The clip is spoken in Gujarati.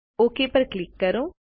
ઓક પર ક્લિક કરો